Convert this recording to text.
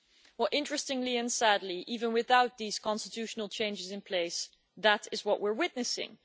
Well, interestingly and sadly, even without these constitutional changes in place, that is what we are witnessing.